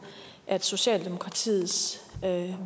at socialdemokratiets